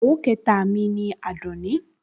Ìyàwó ìkẹta mi ni Àdùnní